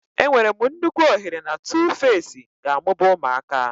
Enwere m nnukwu ohere na Tuface ga-amụba ụmụaka.